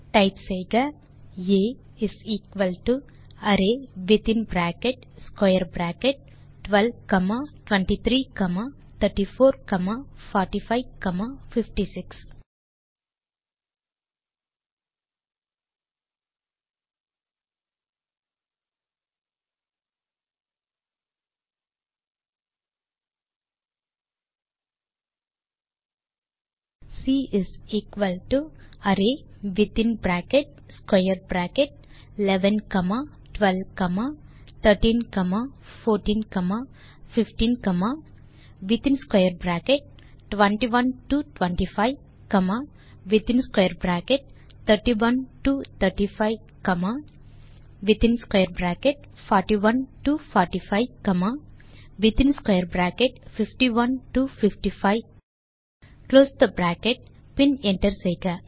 type செய்க ஆ array within bracket square bracket 12 comma 23 comma 34 comma 45 comma 56 C array within bracket square bracket 11 comma 12 comma 13 comma 14 comma 15 comma within square bracket 21 to 25 comma within square bracket 31 to 35 comma within square bracket 41 to 45 comma within square bracket 51 to 55 பின் close the bracket பின் enter செய்க